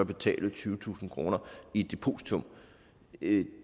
betale tyvetusind kroner i et depositum ikke